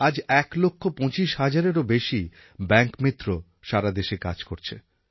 আজ এক লক্ষ পঁচিশ হাজারেরও বেশি ব্যাঙ্ক মিত্র সারা দেশে কাজ করছে